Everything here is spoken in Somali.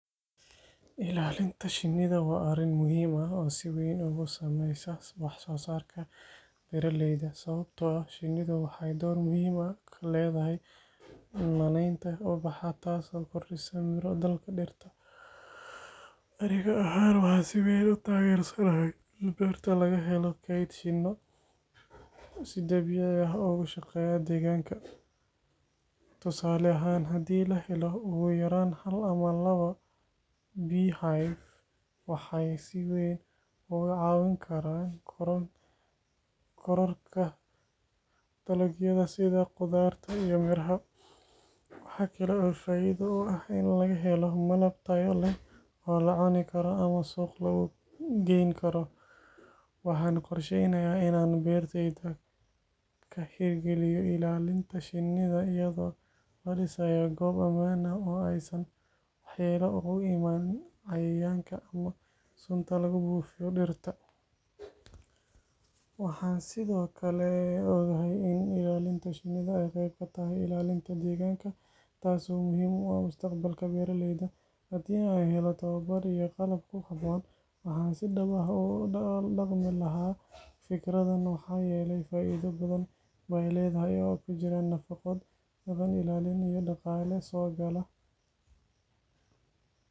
Ilaalinta Shiniida wa arin muhim aah o siweyn usameysa wax sosarka beera leyda. sababato ah Shiniidu waxay door muhim utahay kaledahy m ubaxa tas o kordisa miro dalka dhiirta. Aniga ahan waxan si weeyn tager sanahy in beerta lagaheelo keyd shiino si dabiici aah o ushaqeya daganka. Tusale ahan hadi laheelo uyaran 1 ama 2 biya haya waxay si weyn ugu cawin karan koroorka dalagyada sida khudarta iyo miraha. Waxakala o fa'aido leh aya do aah in lagahelo malab taya leeh o lacuna karo ama suuq lagugeyn karo. Waxana qorsheynaya inan berteyda kahergaliya ilaalinta Shiniida iyado lo disaya gob aman aah o waxyela ugu iman cayayanka ama sunta lagu bufiyo dhirta waxa sido kale ogahy in Shiniida ay qeyb katahy ilalinta deganka taas o muhim u aah mustaqbalka beraleyda hadi an heelo tawabar iyo qalab kuhabon waxan si daab u daqmi laha fikridan waxa yelay fa'aido badan ba ledahay e kujiran nafaqo badan ilaalin iyo daqalin sogala